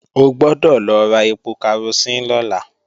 O gbọ́dọ̀ lọ ra ẹpo karosín lọ́la